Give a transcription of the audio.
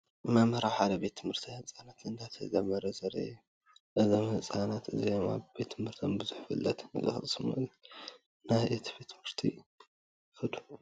መምህር ኣብ ሓደ ቤት ትምህርቲ ህፃናት እንዳምሀረ ዘርኢ ምስሊ እዩ። እዞም ህፃናት እዚኦም ኣብ ቤት ትምህርቶም ቡዙሕ ፍልጠት ንክቀስሙ ናብ እቲ ቤት ትምህርቲ ይከዱ።